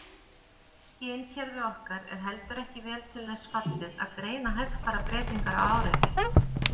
Skynkerfi okkar er heldur ekki vel til þess fallið að greina hægfara breytingar á áreiti.